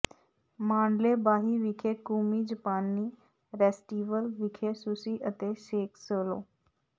Mandalay ਬਾਹੀ ਵਿਖੇ ਕੂਮੀ ਜਪਾਨੀ ਰੈਸਟੀਵਲ ਵਿਖੇ ਸੁਸ਼ੀ ਅਤੇ ਸੇਕ ਸੋਲੋ